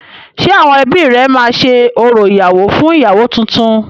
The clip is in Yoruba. Ṣé àwọn ebí rẹ máa ṣe orò ìyàwọ́ fún ìyàwọ́ túntún?